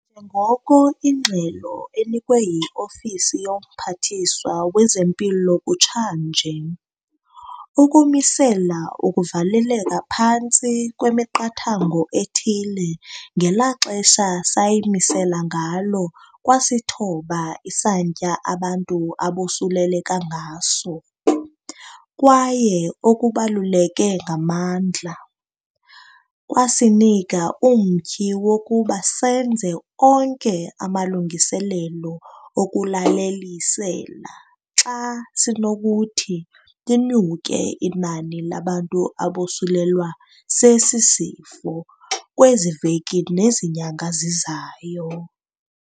njengoko ingxelo enikwe yi-Ofisi yoMphathiswa wezeMpilo kutsha nje, ukumisela ukuvaleleka phantsi kwemiqathango ethile ngela xesha sayimisela ngalo kwasithoba isantya abantu abosuleleka ngaso, kwaye okubaluleke ngamandla, kwasinika umtyhi wokuba senze onke amalungiselelo okulalelisela xa linokuthi linyuke inani labantu abosulelwa sesi sifo kwezi veki nezi nyanga zizayo.